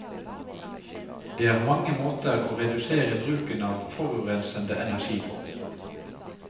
Det er mange måter å redusere bruken av forurensende energi på.